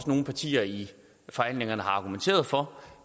nogle partier i forhandlingerne også har argumenteret for